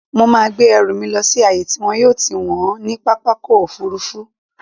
Mo máa gbé ẹrù mi lọ sí ààyè tí wọn yóò ti wọ̀n ọ́n ní pápákọ̀-òfurufú.